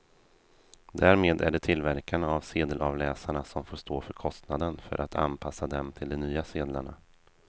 Därmed är det tillverkarna av sedelavläsarna som får stå för kostnaden för att anpassa dem till de nya sedlarna.